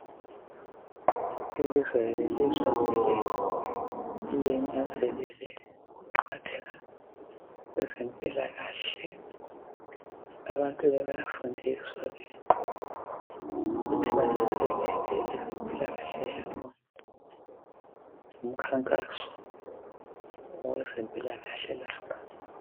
Ilizwe lelizwe kumele linanzelele ukuqakatheka kwezempilakahle, abantu bayafundiswa ke ukuthi bananzelele ngezempilakahle yabo. Ngumkhankaso owezempilakahle lapha.